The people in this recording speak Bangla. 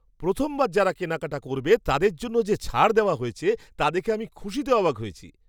প্রথমবার যারা কেনাকাটা করবে তাদের জন্য যে ছাড় দেওয়া হয়েছে তা দেখে আমি খুশিতে অবাক হয়েছি!